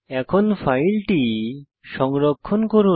এখন ফাইলটি সংরক্ষণ করুন